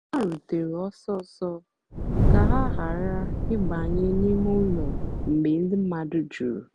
ha rùtèrè ọ́sọ́sọ́ kà ha ghàrà ị̀bànyè n'ìmè ụ́lọ́ mgbe ndí mmadụ́ jùrù.